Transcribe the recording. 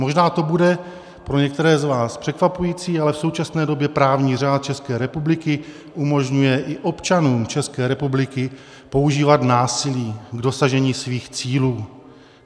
Možná to bude pro některé z vás překvapující, ale v současné době právní řád České republiky umožňuje i občanům České republiky používat násilí k dosažení svých cílů.